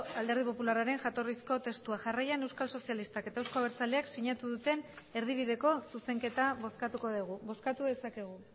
alderdi popularraren jatorrizko testua jarraian euskal sozialistak eta euzko abertzaleak sinatu duten erdibideko zuzenketa bozkatuko dugu bozkatu dezakegu